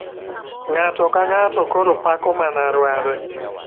Ng'ato ka ng'ato koro pako mana ruadhe.